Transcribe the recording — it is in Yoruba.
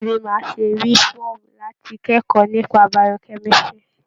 Báwo ni máà ṣe rí fọ́ọ̀mù láti kẹ́kọ̀ọ́ nípa Biochemistry?